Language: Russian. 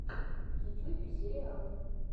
в ютьюбе сериалы